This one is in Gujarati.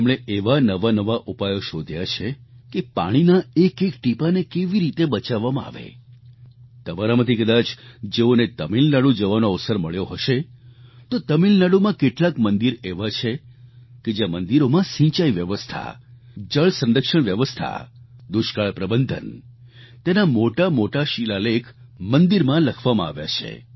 તેમણે એવા નવાનવા ઉપાયો શોધ્યા છે કે પાણીનાં એક એક ટીપાને કેવી રીતે બચાવવામાં આવે તમારામાંથી કદાચ જેઓને તમિલનાડુ જવાનો અવસર મળ્યો હશે તો તમિલનાડુમાં કેટલાક મંદિર એવા છે કે જ્યાં મંદિરોમાં સિંચાઈ વ્યવસ્થા જળ સંરક્ષણ વ્યવસ્થા દુષ્કાળ પ્રબંધન તેના મોટા મોટા શિલાલેખ મંદિરમાં લખવામાં આવ્યા છે